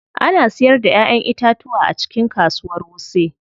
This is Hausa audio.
Ana siyar da Ƴaƴan itatuwa a cikin kasuwar wuse.